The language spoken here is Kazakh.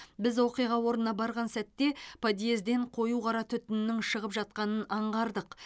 біз оқиға орнына барған сәтте подьезден қою қара түтіннің шығып жатқанын аңғардық